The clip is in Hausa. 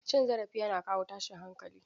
Cin zarafi yana kawo tashin hankali.